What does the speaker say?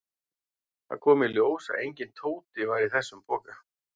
Það kom í ljós að enginn Tóti var í þessum poka.